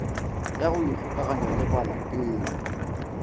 ya go ikgokanya le balatedi